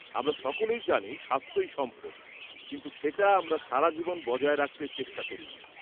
-আমরা সকলে জানি স্বাস্থ্যই সম্পদ, কিন্তু সেটা আমরা সারাজীবন বজায় রাখতে চেষ্টা করিনা।